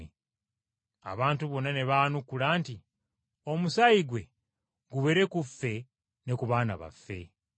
Abantu bonna ne baanukula nti, “Omusaayi gwe gubeere ku ffe ne ku baana baffe!”